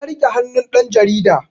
Ta rike hannun ɗan jarida